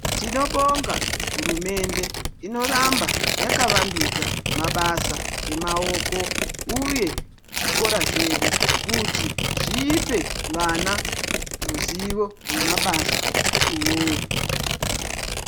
Tinobonga hurumende inofamba yakavandudza mabasa emaoko uye zvikora zvedu kuti zvipe vana ruzivo rwemabasa uwowo.